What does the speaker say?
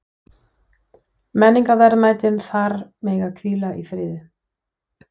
Menningarverðmætin þar mega hvíla í friði.